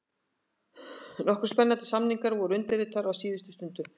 Nokkrir spennandi samningar voru undirritaðir á síðustu stundu: